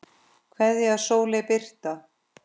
Kveðja, Sóley Birta.